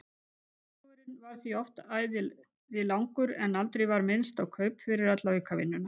Vinnudagurinn varð því oft æði langur en aldrei var minnst á kaup fyrir alla aukavinnuna.